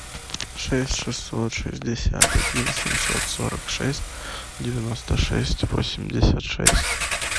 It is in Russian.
шесть шестьсот шестьдесят один семьсот сорок шесть девяносто шесть восемьдесят шесть